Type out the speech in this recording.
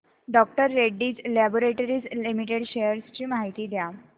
डॉ Reddy's laboratories limited shares ची माहिती द्या